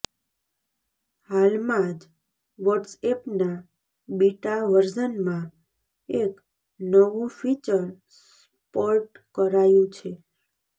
હાલમાં જ વોટ્સએપના બીટા વર્ઝનમાં એક નવું ફીચર સ્પોર્ટ કરાયું છે